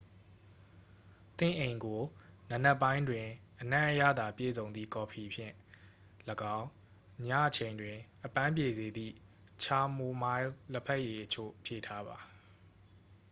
သင့်အိမ်ကို နံနက်ပိုင်းတွင် အနံ့အရသာ ပြည့်စုံသည့် ကော်ဖီဖြင့်လည်းကောင်း ညအချိန်တွင် အပန်းပြေစေသည့် ချာမိုမိုင်းလ် လဘက်ရည်အချို့ဖြည့်ထားပါ